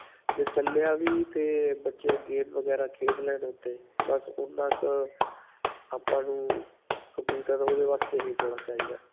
ਜੇ ਚੱਲਿਆ ਵੀ 'ਤੇ ਬੱਚੇ game ਵਗੈਰਾ ਖੇਡ ਲੈਣ ਉੱਤੇ ਬਸ ਓਨ੍ਨਾਂ ਕ ਆਪਾਂ ਨੂੰ computer ਓਹਦੇ ਵਾਸਤੇ ਹੀ ਥੋੜਾ ਚਾਹਿਦਾ ਹੈ.